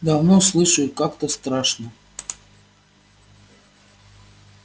давно слышу и как-то страшно